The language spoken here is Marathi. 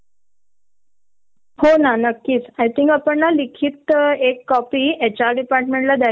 म्हणजे आम्ही की तास भर अधिक वेळ देऊ शकतो कामाला ती रिक्वेस्ट सुद्धा मान्य करत नाही ग कधी कधी.